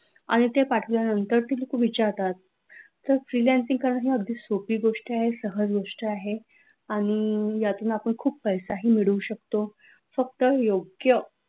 आणि ते पाठवला नंतर ती लोकं विचारतात तर freelancing करणं अगदी सोपी गोष्ट आहे सहज गोष्ट आहे आणि यातून यातून आपण खूप पैसा मिळू शकतो फक्त योग्य